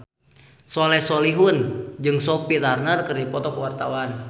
Soleh Solihun jeung Sophie Turner keur dipoto ku wartawan